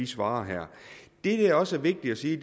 svar her det der også er vigtigt at sige